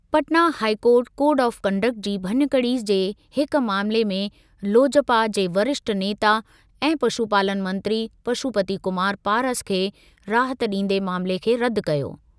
Patna high court code of conduct जी भञकड़ी जे हिक मामले में लोजपा जे वरिष्ठ नेता ऐं पशुपालन मंत्री पशुपति कुमार पारस खे राहत ॾींदे मामले खे रदि कयो।